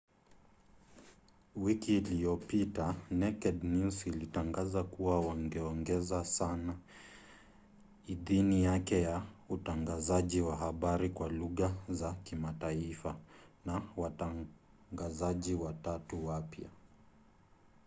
wiki iliyopita naked news ilitangaza kuwa wangeongeza sana idhini yake ya utangazaji wa habari kwa lugha za kimataifa na watangazaji watatu wapya